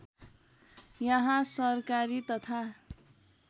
यहाँ सरकारी तथा